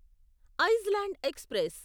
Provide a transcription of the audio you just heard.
Iceland express